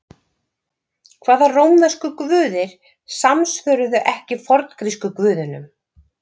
Hvaða rómversku guðir samsvöruðu ekki forngrísku guðunum?